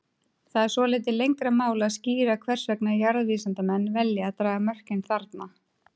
Það er svolítið lengra mál að skýra hvers vegna jarðvísindamenn velja að draga mörkin þarna.